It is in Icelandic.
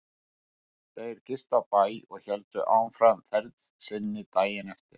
Þeir gistu á bæ og héldu áfram ferð sinni daginn eftir.